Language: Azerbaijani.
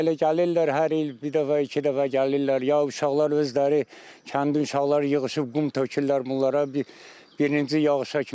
Elə gəlirlər hər il bir dəfə, iki dəfə gəlirlər, ya uşaqlar özləri, kəndin uşaqları yığışıb qum tökürlər bunlara bir birinci yağışa kimi.